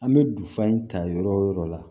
An bɛ dufa in ta yɔrɔ o yɔrɔ la